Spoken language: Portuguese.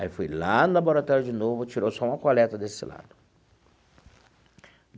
Aí fui lá no laboratório de novo, tirou só uma coleta desse lado.